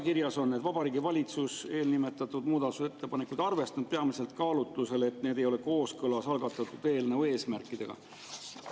Kirjas on, et Vabariigi Valitsus eelnimetatud muudatusettepanekuid ei arvestanud peamiselt kaalutlusel, et need ei ole kooskõlas algatatud eelnõu eesmärkidega.